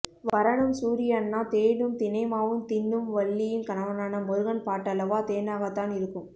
வரனும் சூரி அண்ணா தேனும் தினை மாவும் தின்னும் வள்ளியின் கணவனான முருகன் பாட்டல்லவா தேனாகத்தான் இருக்கும்